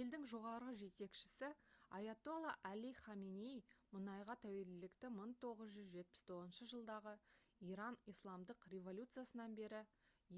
елдің жоғарғы жетекшісі айатолла али хаменей мұнайға тәуелділікті 1979 жылдағы иран исламдық революциясынан бері